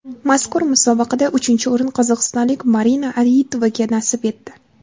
Mazkur musobaqada uchinchi o‘rin qozog‘istonlik Marina Aitovaga nasib etdi.